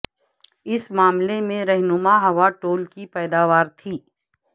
اس معاملے میں رہنما ہوا ٹول کی پیداوار تھی